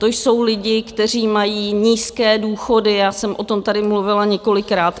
To jsou lidi, kteří mají nízké důchody, já jsem o tom tady mluvila několikrát.